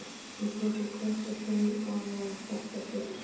Hún smellir kossi á kinn afa og þakkar fyrir sig.